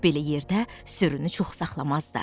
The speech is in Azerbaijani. Belə yerdə sürünü çox saxlamazdılar.